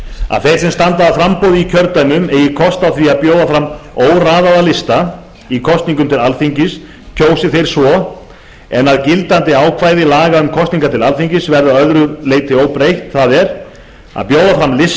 að þeir sem standa að framboði í kjördæmum eigi kost á því að bjóða fram óraðaða lista í kosningum til alþingis kjósi þeir svo en að gildandi ákvæði laga um kosningar til alþingis verði að öðru leyti óbreytt það er að bjóða fram lista